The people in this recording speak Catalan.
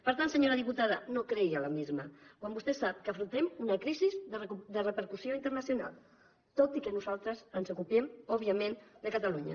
per tant senyora diputada no creï alarmisme quan vostè sap que afrontem una crisi de repercussió internacional tot i que nosaltres ens ocupem òbviament de catalunya